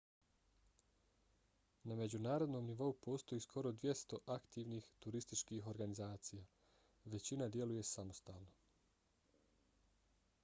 na međunarodnom nivou postoji skoro 200 aktivnih turističkih organizacija. većina djeluje samostalno